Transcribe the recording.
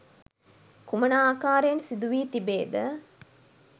කුමන ආකාරයෙන් සිදු වී තිබේද?